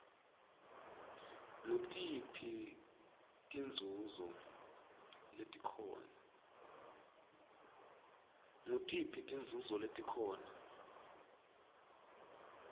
ngutiphi tinzunzo letikhona